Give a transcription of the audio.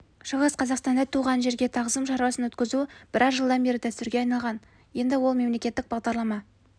шығыс қазақстанда туған жерге тағзым шарасын өткізу біраз жылдан бері дәстүрге айналған енді ол мемлекеттік бағдарлама